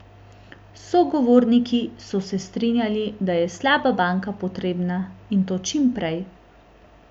Sogovorniki so se strinjali, da je slaba banka potrebna, in to čim prej.